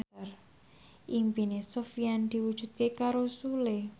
impine Sofyan diwujudke karo Sule